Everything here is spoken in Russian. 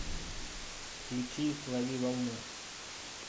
включи лови волну